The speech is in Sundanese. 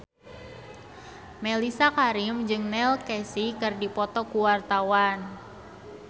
Mellisa Karim jeung Neil Casey keur dipoto ku wartawan